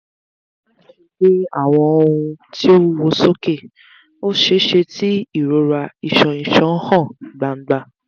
maṣe gbe awọn ohun ti o wuwo soke; o ṣeeṣe ti irora iṣan iṣan han gbangba